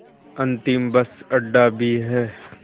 अंतिम बस अड्डा भी है